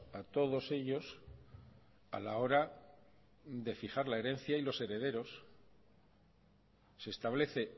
a todos ellos a la hora de fijar la herencia y los herederos se establece